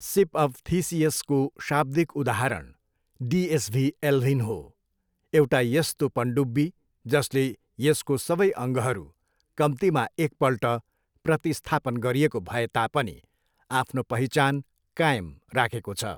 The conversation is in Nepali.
सिप अफ थिसियसको शाब्दिक उदाहरण डिएसभी एल्भिन हो, एउटा यस्तो पनडुब्बी जसले यसको सबै अङ्गहरू कम्तीमा एकपल्ट प्रतिस्थापन गरिएको भए तापनि आफ्नो पहिचान कायम राखेको छ।